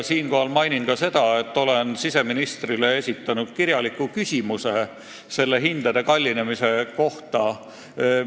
Siinkohal mainin ka seda, et olen siseministrile esitanud kirjaliku küsimuse selle maksumuse suurenemise kohta.